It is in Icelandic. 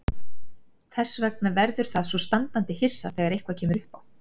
Þess vegna verður það svo standandi hissa þegar eitthvað kemur uppá.